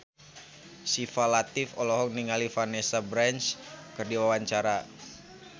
Syifa Latief olohok ningali Vanessa Branch keur diwawancara